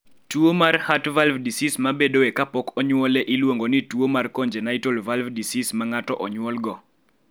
Tuo mar Heart valve disease ma bedoe kapok onyuole iluongo ni tuo mar congenitalheart valve disease ma ng�ato onyuolgo.